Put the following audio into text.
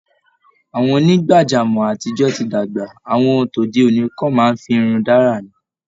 Àwọn onígbàjámọ̀ àtijọ ti dàgbà, àwọn tode òní kan máa ń firun dárà ni